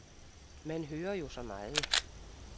Man hører jo så meget.